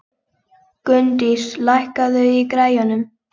Gunndís, lækkaðu í græjunum.